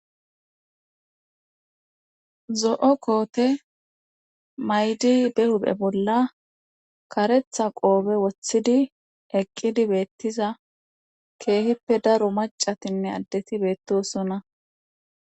zo'o koote maydi be huphe bolla karetha qoobe wothidi eqqidi beettiza keehippe daro macatinne addeti beettosona